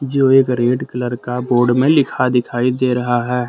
जो एक red colour का बोर्ड में लिखा दिखाई दे रहा है।